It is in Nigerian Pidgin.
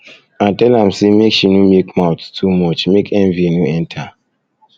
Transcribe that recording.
i tell am sey make she no make mouth too much make envy no enter